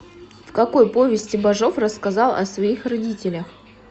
в какой повести бажов рассказал о своих родителях